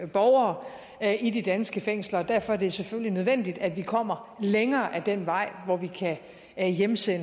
borgere i de danske fængsler og derfor er det selvfølgelig nødvendigt at vi kommer længere ad den vej hvor vi kan hjemsende